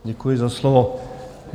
Děkuji za slovo.